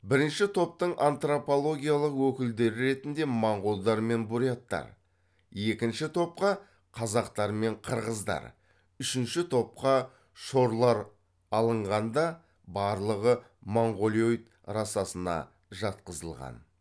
бірінші топтың антропологиялық өкілдері ретінде моңғолдар мен буряттар екінші топқа қазақтар мен қырғыздар үшінші топқа шорлар алынған да барлығы монғолоид расасына жатқызылған